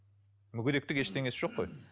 мүгедектік ештеңесі жоқ қой